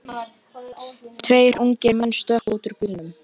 Tveir ungir menn stökkva út úr bílnum.